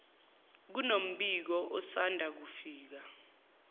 kunombiko osanda kufika